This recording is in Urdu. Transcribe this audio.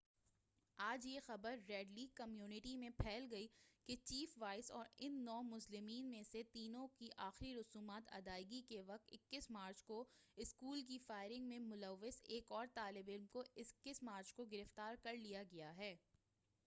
آج یہ خبر ریڈ لیک کمیونٹی میں پھیل گئی کہ جیف وائس اور ان نو مظلومین میں سے تینوں کی آخری رسومات کی ادائیگی کےوقت 21 مارچ کو اسکول کی فائرنگ میں ملوث ایک اور طالب علم کو 21 مارچ کو گرفتار کر لیا گیا ہے